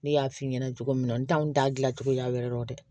Ne y'a f'i ɲɛna cogo min n t'a n t'a dilancogo la yɛrɛ de